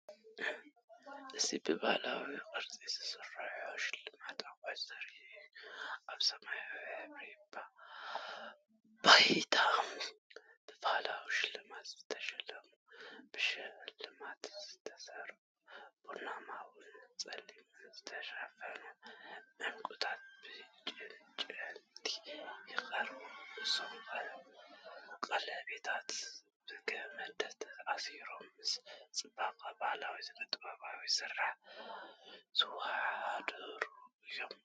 እዚ ብባህላዊ ቅርጺ ዝተሰርሑ ሽልማት ኣቑሑት ዘርኢ እዩ። ኣብ ሰማያዊ ድሕረ ባይታ፡ ብባህላዊ ሽልማት ዝተሽለሙ፡ ብሽልማት ዝተሰርዑ፡ ብቡናውን ጸሊምን ዝተሸፈኑ ዕንቁታት ብዕንጨይቲ ይቐርቡ። እዞም ቀለቤታት ብገመድ ተኣሲሮም ምስ ጽባቐ ባህላዊ ስነ-ጥበባዊ ስርሓት ዝወዳደሩ እዮም።